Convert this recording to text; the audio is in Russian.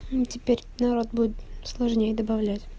теперь народ будет сложнее добавлять